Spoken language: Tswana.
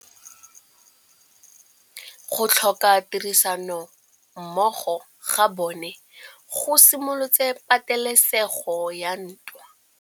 Go tlhoka tirsanommogo ga bone go simolotse patêlêsêgô ya ntwa.